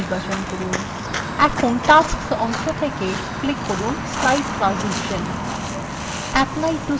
এখন টাস্সক অংশ থেকে click করুন slide ট্রানজিশন